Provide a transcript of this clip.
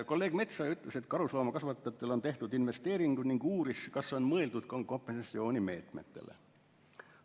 Kolleeg Metsoja ütles, et karusloomakasvatajatel on tehtud investeeringud, ning uuris, kas on mõeldud ka kompensatsioonimeetmetele.